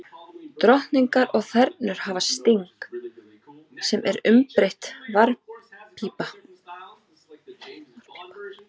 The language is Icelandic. Drottningar og þernur hafa sting, sem er umbreytt varppípa.